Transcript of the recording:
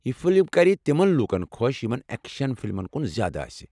یہِ فلم کرِ تمن لوٗکن خۄش یمن اٮ۪کشن فلمن کُن زیٛادٕ آسہِ۔